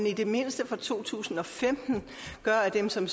i det mindste for to tusind og femten gør at dem som